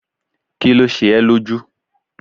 Kí ló ṣe ẹ́ lójú?